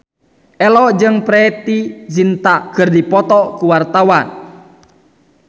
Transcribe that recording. Ello jeung Preity Zinta keur dipoto ku wartawan